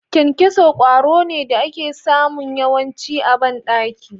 Kyankyaso kwaro ne da ake samu yawanci a bandaki